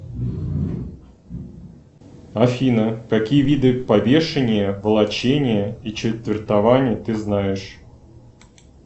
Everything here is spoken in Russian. афина какие виды повешения волочения и четвертования ты знаешь